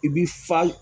I bi fa